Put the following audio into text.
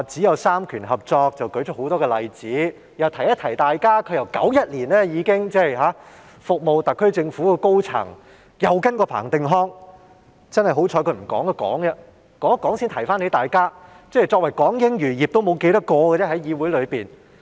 我想提醒大家，她自1991年起已經在政府擔任高層，又曾跟隨彭定康工作，幸好她剛才走出來發言，這樣才提醒了大家，作為議會內港英餘孽的人數已所剩無幾。